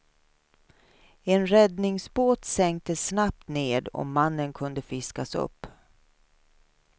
En räddningsbåt sänktes snabbt ned och mannen kunde fiskas upp.